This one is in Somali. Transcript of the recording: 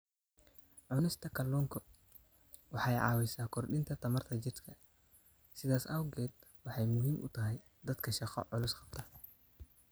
Cunista kalluunku waxa ay caawisaa korodhka tamarta jidhka, sidaas awgeed waxa ay muhiim u tahay dadka shaqo culus qabta.